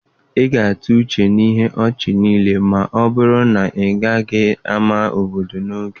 Ị ga-atụ uche ihe ọchị niile ma ọ bụrụ na ịgaghị ámá obodo n'oge.